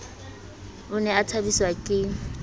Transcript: o ne a thabiswa ke